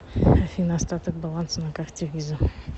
афина остаток баланса на карте виза